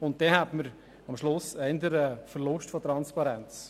Dann hätte man am Ende eher einen Verlust an Transparenz.